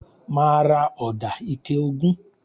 Mà á ra ọ̀dà ike ogún.